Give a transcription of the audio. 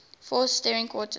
fourth string quartets